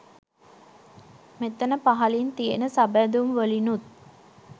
මෙතන පහළින් තියන සබැඳුම් වලිනුත්